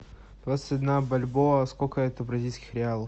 двадцать одна бальбоа сколько это бразильских реалов